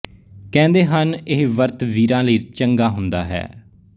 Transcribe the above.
ਕਹਿੰਦੇ ਹਨ ਇਹ ਵਰਤ ਵੀਰਾਂ ਲਈ ਚੰਗਾ ਹੁੰਦਾ ਹੈ